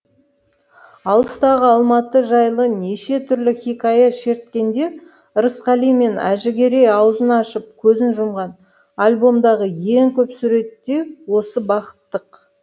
алыстағы алматы жайлы неше түрлі хикая шерткенде ырысқали мен әжігерей аузын ашып көзін жұмған альбомдағы ең көп сурет те осы бақыттық